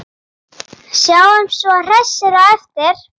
Sjáumst svo hressir á eftir.